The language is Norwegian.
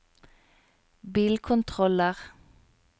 bilkontroller